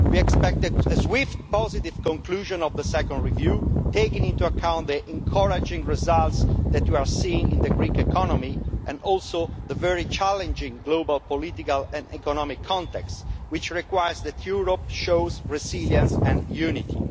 We expect a swift, positive conclusion of the second review, taking into account the encouraging results that you are seeing in the Greek economy and also the very challenging global, political and economic context, which requires that Europe shows resilience and unity.